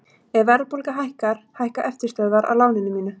Ef verðbólga hækkar hækka eftirstöðvar á láninu mínu.